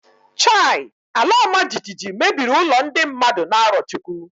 Chai! Alaọmajijiji mebiri ụlọ ndị mmadụ na Arọchukwu.